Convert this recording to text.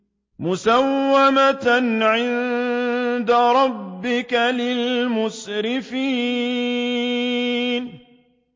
مُّسَوَّمَةً عِندَ رَبِّكَ لِلْمُسْرِفِينَ